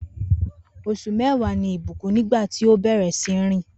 Os̩ù mé̩wàá ni Ìbùkún nígbà tí ó bè̩rè̩ sí ní rìn